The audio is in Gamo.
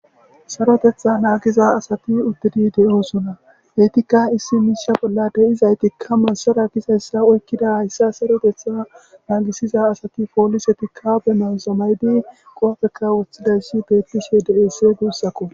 sarotetha naagiza asati uthidi de7oosona heytikka issi miisha bolla de7izaytikka masara gizayssa oykkida hayssa sarotetha naagisiza asati poolisetikka be mazamaydi qoopheka woththidayssi bettishe de7ese guussakko.